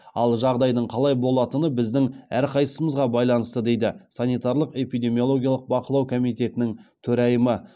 ал жағдайдың қалай болатыны біздің әрқайсымызға байланысты дейді санитарлық эпидемиологиялық бақылау комитетінің төрайымы